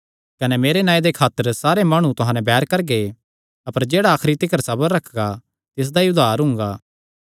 कने मेरे नांऐ दे खातर सारे माणु तुहां नैं बैर करगे अपर जेह्ड़ा आखरी तिकर सबर रखगा तिसदा ई उद्धार हुंगा